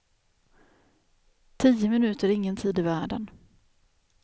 Tio minuter är ingen tid i världen.